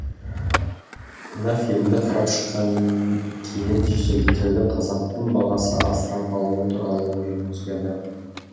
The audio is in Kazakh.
мына фильмді қарап шыққан кейін шетелдіктердің қазақтың баласын асырап алуы туралы ойым өзгерді